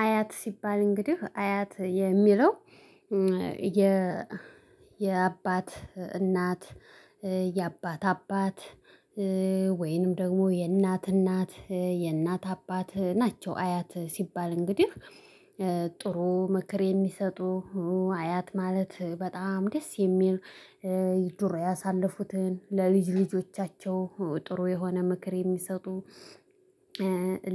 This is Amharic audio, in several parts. አያት ሲባል እንግዲህ አያት የሚለው የ የአባት እናት የአባት አባት ወይንም ደግሞ የእናት እናት የእናት አባት ናቸው። አያት ሲባል እንግዲህ ጥሩ ምክር የሚሰጡ አያት ማለት በጣም ደስ የሚል። ዱሮ ያሳለፉትን ለልጅ ልጆቻቸው ጥሩ የሆነ ምክር የሚሰጡ።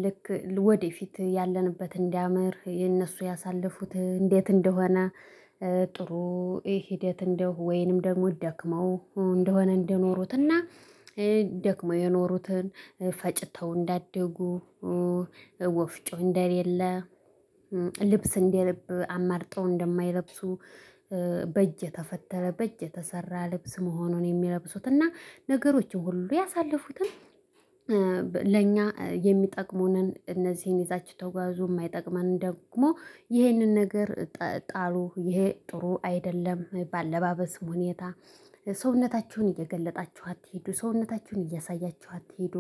ልክ ወደፊት ያለንበት እንዲያምር የነሱ ያሳለፉት እንዴት እንደሆነ። ጥሩ ሂደት እንደው ወይንም ደግሞ ደክመው እንደሆነ እንደኖሩትና። ደክመው የኖሩትን ፈጭተው እንዳደጉ። ወፍጮ እንደሌለ። ልብስ እንደልብ አማርጠው እንደማይለብሱ። በእጅ የተፈተለ በእጅ የተሰራ ልብስ መሆኑን የሚለብሱት እና ነገሮች ሁሉ ያሳለፉትን። ለእኛ የሚጠቅሙንን እነዚህን ይዛች ተጓዙ የማይጠቅመን ደግሞ ይህንን ነገር። ጣሉ ይሄ ጥሩ አይደለም። በአለባበስም ሁኔታ ሰውነታችሁን እየገለጣችሁ አትሂዱ ሰውነታችሁን እያሳያችሁ አትሂዱ።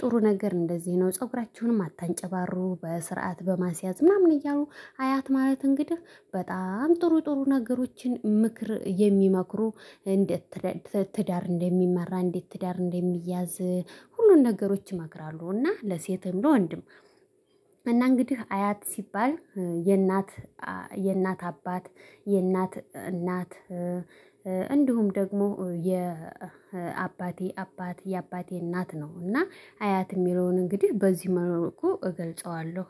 ጥሩ ነገር እንደዚህ ነው። ፀጉራችሁንም አታንጨባሩ በስርዓት በማስያዝ ምናምን እያሉ አያት ማለት እንግዲህ በጣም ጥሩ ጥሩ ነገሮችን ምክር የሚመክሩ። እንዴት ትዳር እንደሚመራ እንዴት ትዳር እንደሚያዝ። ሁሉን ነገሮች ይመክራሉ እና ለሴትም ለወንድም። እና እንግዲህ አያት ሲባል የእናት የእናት አባት የእናት እናት እንዲሁም ደግሞ የአባቴ አባቴ የአባቴ እናት ነው እና አያት የሚለውን እንግዲህ በዚህ መልኩ እገልጸዋለሁ